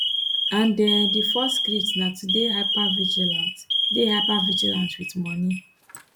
and um di fourth script na to dey hypervigilant dey hypervigilant wit money